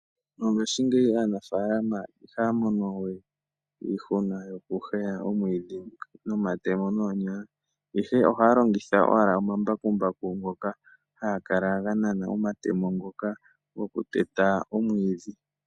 Mongaashingeyi aanafaalama ihaya mono we iihuna yokuheya omwiidhi nomatemo nenge noonyala, ihe ohaya longitha owala omambakumbaku ngoka haga kala ga nana omatemo ngoka gokuteta omwiidhi.